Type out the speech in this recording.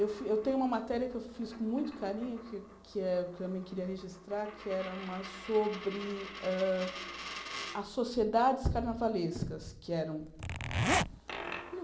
Eu fi eu tenho uma matéria que eu fiz com muito carinho, que eu também queria registrar, que era sobre hã as sociedades carnavalescas que eram.